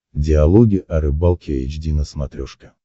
диалоги о рыбалке эйч ди на смотрешке